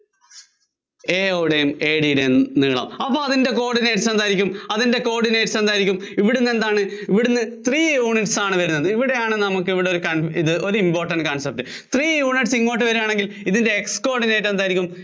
AO യുടെയും AD യുടെയും നീളം. അപ്പോ അതിന്‍റെ coordinates എന്തായിരിക്കും, അതിന്‍റെ coordinates എന്തായിരിക്കും? ഇവിടുന്ന് എന്താണ് ഇവിടുന്ന് three units ആണ് വരുന്നത്. ഇവിടെയാണ്, ഇവിടെയാണ് നമുക്കൊരു ഒരു important concept